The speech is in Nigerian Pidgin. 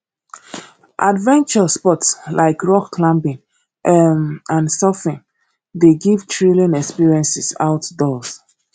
adventure sports like rock climbing um and surfing dey give thrilling experiences outdoors